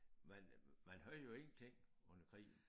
Man man havde jo ingenting under krigen